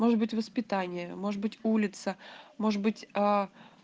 может быть воспитание может быть улица может быть а